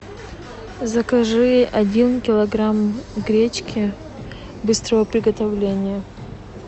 закажи один килограмм гречки быстрого приготовления